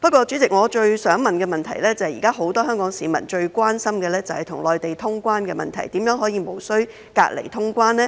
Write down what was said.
主席，我想提出的補充質詢，就是現時很多香港市民最關心與內地通關的問題，如何做到通關而無須強制隔離呢？